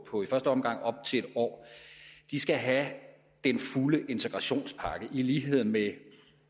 på i første omgang op til en år skal have den fulde integrationspakke i lighed med